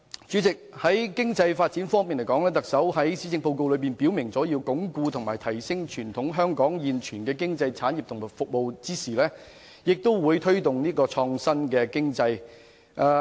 在經濟發展方面，特首在施政報告中表明，在鞏固和提升傳統經濟產業和服務的同時，亦會推動創新經濟。